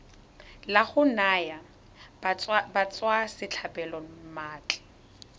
la go naya batswasetlhabelo maatla